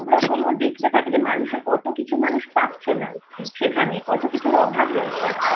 সবরকম ও দেখতে থাকে যে কতকিছু মানুষ পাচ্ছে না সেখানে কত কিছুর অভাব রয়েছে।